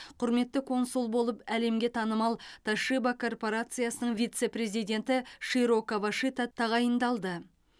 құрметті консул болып әлемге танымал тошиба корпорациясының вице президенті широ кавашита тағайындалды